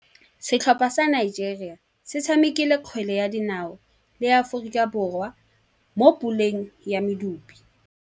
Setlhopha sa Nigeria se tshamekile kgwele ya dinaô le Aforika Borwa mo puleng ya medupe.